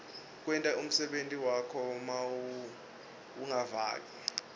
kwenta umsebenti wakho mawungaveka